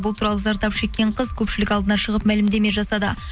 бұл туралы зардап шеккен қыз көпшілік алдына шығып мәлімдеме жасады